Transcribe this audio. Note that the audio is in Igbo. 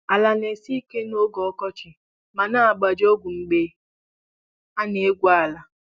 Ala na-esi ike n'oge ọkọchị ma na-agbaji ọgụ mgbe a na-egwu ala.